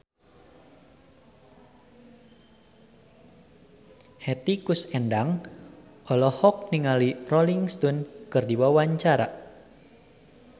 Hetty Koes Endang olohok ningali Rolling Stone keur diwawancara